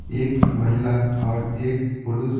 एक महिला और एक पुरुष--